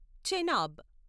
Chenab